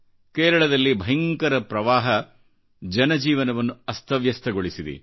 ಕೇರಳದಲ್ಲಿ ಭಯಂಕರಪ್ರವಾಹ ಜನಜೀವನವನ್ನು ಅಸ್ತವ್ಯಸ್ತಗೊಳಿಸಿದೆ